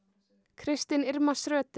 christin Irma